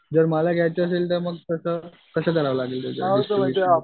जर मला घ्यायचं असेलं तर मंग कसं करावं लागेल त्याच्यासाठी